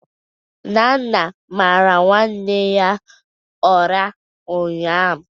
Nana mara nwanne ya ụra ụnyahụ